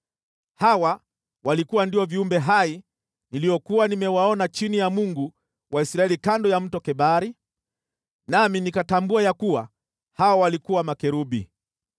Hawa walikuwa ndio viumbe hai niliokuwa nimewaona chini ya Mungu wa Israeli kando ya Mto Kebari, nami nikatambua ya kuwa hao walikuwa makerubi.